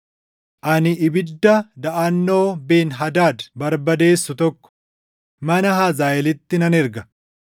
ani ibidda daʼannoo Ben-Hadaad barbadeessu tokko, mana Hazaaʼeelitti nan erga.